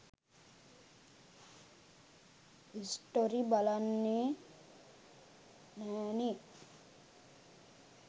Story බලන්නෙ නැනෙ.